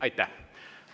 Aitäh!